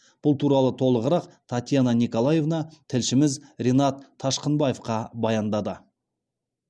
бұл туралы толығырақ татьяна николаевна тілшіміз ренат ташқынбаевқа баяндады